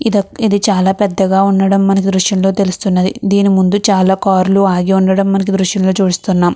ఇది చాల పెదగా ఉండడం మనం దృశ్యం లో తెలుస్తున్నది. దీని ముందు చాల కార్ లు ఆగి ఉండడం మనకి ఈ దృశ్యంలో చుపిస్తునం .